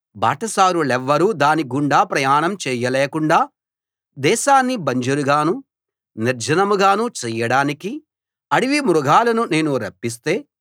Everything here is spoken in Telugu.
బాటసారులెవ్వరూ దానిగుండా ప్రయాణం చేయలేకుండా దేశాన్ని బంజరుగానూ నిర్జనం గానూ చేయడానికి అడవి మృగాలను నేను రప్పిస్తే